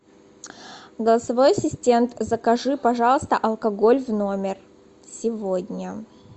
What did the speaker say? голосовой ассистент закажи пожалуйста алкоголь в номер сегодня